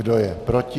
Kdo je proti?